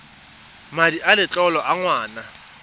madi a letlole a ngwana